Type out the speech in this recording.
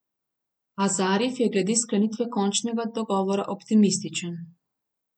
A Zarif je glede sklenitve končnega dogovora optimističen.